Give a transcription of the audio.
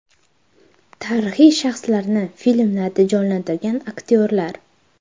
Tarixiy shaxslarni filmlarda jonlantirgan aktyorlar .